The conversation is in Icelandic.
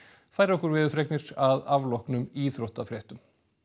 færir okkur veðurfregnir að afloknum íþróttafréttum